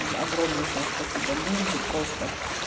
мм огромнейшее спасибо линзы просто